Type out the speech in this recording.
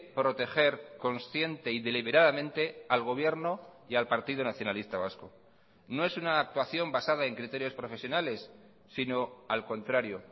proteger consciente y deliberadamente al gobierno y al partido nacionalista vasco no es una actuación basada en criterios profesionales sino al contrario